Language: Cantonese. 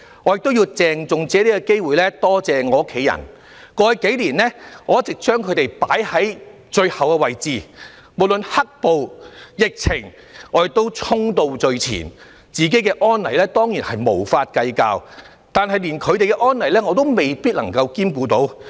我亦要藉此機會，鄭重地感謝我的家人，在過去數年，我一直把他們放在最後的位置，無論"黑暴"、疫情，我都衝到最前，不計較自己的安危，但卻連他們的安危也未必顧及到。